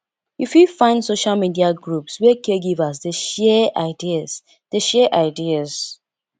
you fit find social media groups where caregivers dey share ideas dey share ideas